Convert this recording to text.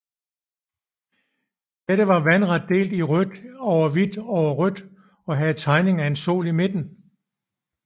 Dette var vandret delt i rødt over hvidt over rødt og havde tegningen af en sol i midten